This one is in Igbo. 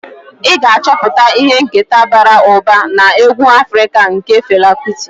Ị ga-achọpụta ihe nketa bara ụba na egwu Afrika nke Fela Kuti.